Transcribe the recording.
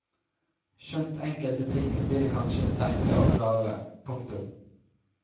Skjønt enkelte ting blir kanskje sterkere og klarere. punktum